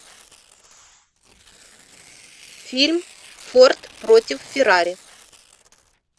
фильм форд против феррари